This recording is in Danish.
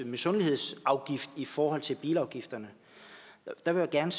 misundelsesafgift i forhold til bilafgifterne der vil jeg